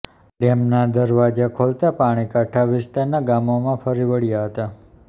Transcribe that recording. ડેમના દરવાજા ખોલાતા પાણી કાંઠા વિસ્તારના ગામોમાં ફરી વળ્યા હતા